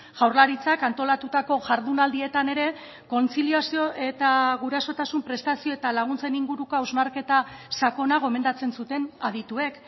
jaurlaritzak antolatutako jardunaldietan ere kontziliazio eta gurasotasun prestazio eta laguntzen inguruko hausnarketa sakona gomendatzen zuten adituek